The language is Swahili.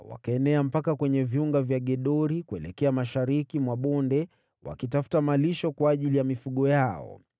wakaenea mpaka kwenye viunga vya Gedori kuelekea mashariki mwa bonde wakitafuta malisho kwa ajili ya mifugo yao.